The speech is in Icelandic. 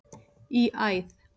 í æð.